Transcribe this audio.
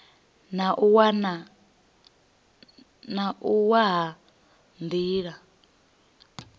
na u wa ha nila